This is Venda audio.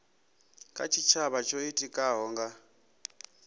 kha tshitshavha tsho itikaho nga